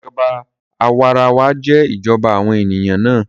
Ìjọba àwarawa jẹ́ ìjọba àwọn ènìyàn náà